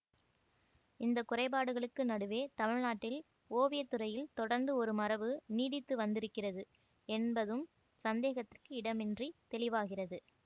இந்த குறைபாடுகளுக்கு நடுவே தமிழ்நாட்டில் ஓவியத்துறையில் தொடர்ந்து ஒரு மரபு நீடித்து வந்திருக்கிறது என்பதும் சந்தேகத்திற்கு இடமின்றித் தெளிவாகிறது